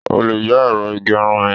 O lè yá ẹ̀rọ ìgbẹrun mi.